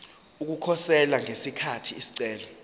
ukukhosela ngesikhathi isicelo